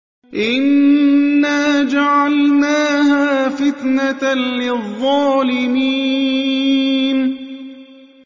إِنَّا جَعَلْنَاهَا فِتْنَةً لِّلظَّالِمِينَ